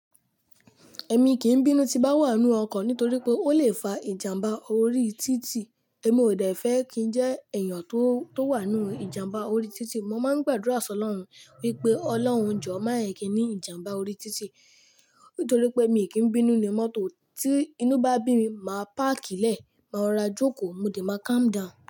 Ẹ̀mi kì í bínú tí bá wà nínú ọkọ̀ nítorí pé ó lè fa ìjàmbá orí títì. Ẹ̀mí ò dẹ̀ fẹ́ kí n jẹ́ èèyàn tó wà nínú ìjàmbá orí títì. Mo máa ń gbàdúrà sọ lọ́run wípé Ọlọ́run jọ̀ọ́ máa yẹ kí í ní ìjàmbá orí títì, nítorí pé èmi kì í bínú inu mọ́tò. Tí inú bá bí mi, màá páàkì lẹ̀, máa rora jókòó, mo dẹ̀ máa calm down.